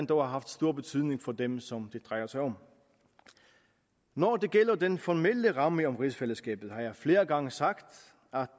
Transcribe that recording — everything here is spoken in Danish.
dog har haft stor betydning for dem som det drejer sig om når det gælder den formelle ramme om rigsfællesskabet har jeg flere gange sagt